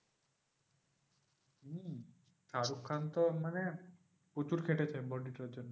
শাহরুখ খান তো মানে প্রচুর খেটেছে body টার জন্য